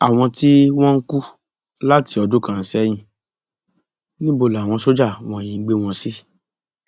àwọn tí wọn ń kú láti ọdún kan sẹyìn níbo làwọn sójà wọnyí ń gbé wọn sí